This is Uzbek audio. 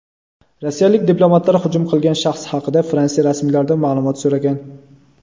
rossiyalik diplomatlar hujum qilgan shaxs haqida Fransiya rasmiylaridan ma’lumot so‘ragan.